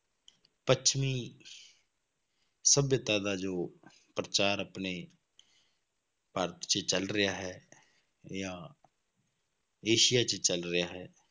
ਪੱਛਮੀ ਸਭਿਅਤਾ ਦਾ ਜੋ ਪ੍ਰਚਾਰ ਆਪਣੇ ਭਾਰਤ 'ਚ ਚੱਲ ਰਿਹਾ ਹੈ ਜਾਂ ਏਸੀਆ 'ਚ ਚੱਲ ਰਿਹਾ ਹੈ,